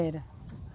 Era.